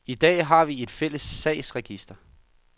I dag har vi ikke et fælles sagsregister.